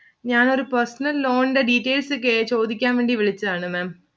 ഞാനൊരു personal loan ഇന്റെ details ചോദിയ്ക്കാൻ വിളിച്ചതാണ് Maám.